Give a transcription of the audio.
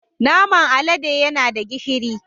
Naman alade yana da gishiri